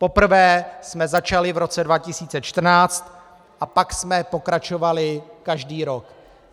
Poprvé jsme začali v roce 2014 a pak jsme pokračovali každý rok.